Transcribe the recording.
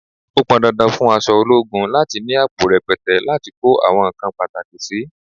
Ó pọn dandan fún aṣọ ológun láti ni àpò rẹpẹtẹ láti kó àwọn nǹkan pàtàkì sì.